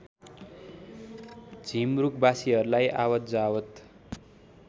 झिमरुक बासीहरूलाई आवतजावत